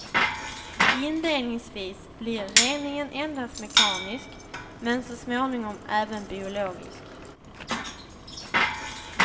Inledningsvis blir reningen endast mekanisk men så småningom även biologisk.